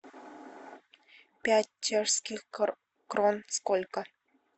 пять чешских крон сколько